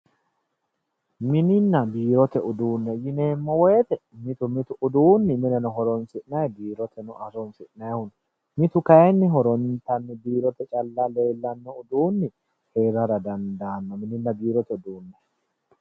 Mininna biirote uduunne yineemmo woyiite mitu mitu uduunni mineno horoonsi'nayii biiroteno horoonsi'nanniho mitu kayiinni horontanni biirote calla leellanno uduunni heerara dandaanno mininna biirote uduunne